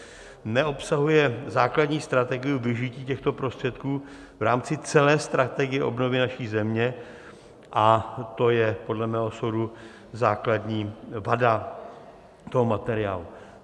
Neobsahuje základní strategii využití těchto prostředků v rámci celé strategie obnovy naší země a to je podle mého soudu základní vada toho materiálu.